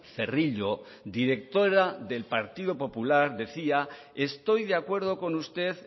cerrillo directora del partido popular decía estoy de acuerdo con usted